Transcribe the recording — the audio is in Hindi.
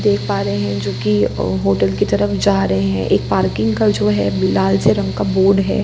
देख पा रहे हैं जो की अ होटल की तरफ जा रहे हैं एक पार्किंग का जो है लाल से रंग का बोर्ड है।